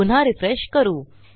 पुन्हा रिफ्रेश करू